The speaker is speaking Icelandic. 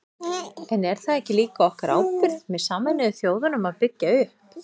En er það ekki líka okkar ábyrgð með Sameinuðu þjóðunum að byggja upp?